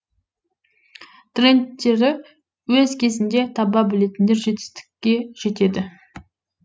трендтерді өз кезінде таба білетіндер жетістікке жетеді